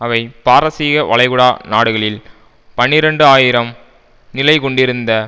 அவை பாரசீக வளைகுடா நாடுகளில் பனிரண்டு ஆயிரம் நிலைகொண்டிருந்த